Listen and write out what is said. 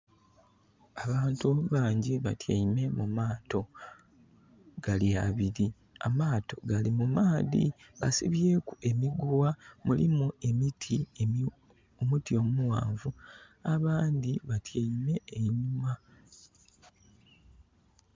Abantu banji batyaime mu maato. Gali abili. Amaato gali mumaadhi, basibyeku emiguwa, mulimu omuti omughanvu. Abandi batyaime e inhuma.